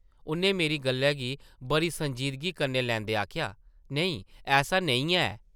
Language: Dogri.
उʼन्नै मेरी गल्लै गी बड़ी संजीदगी कन्नै लैंदे आखेआ, नेईं ऐसा नेईं ऐ ।